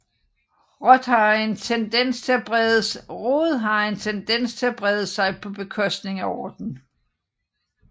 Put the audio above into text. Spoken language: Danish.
Rod har en tendens til at brede sig på bekostning af orden